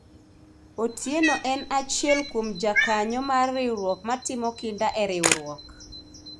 Otieno en achiel kuom jakanyo mar riwruok ma timo kinda e riwruok